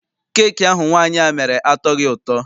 Keeki ahụ nwaanyị a mere atọghi ụtọ.